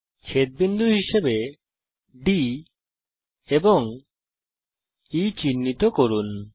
D এবং E কে ছেদবিন্দু হিসাবে চিহ্নিত করুন